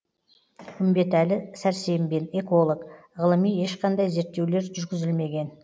үмбетәлі сәрсембин эколог ғылыми ешқандай зерттеулер жүргізілмеген